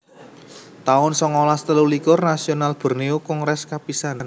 taun songolas telulikur Nasional Borneo Kongres kapisan